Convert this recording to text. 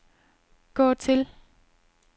gå til